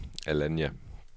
Alanya